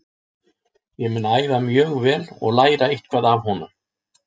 Ég mun æfa mjög vel og læra eitthvað af honum.